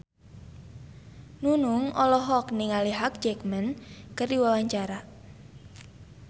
Nunung olohok ningali Hugh Jackman keur diwawancara